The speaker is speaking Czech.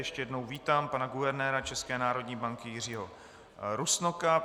Ještě jednou vítám pana guvernéra České národní banky Jiřího Rusnoka.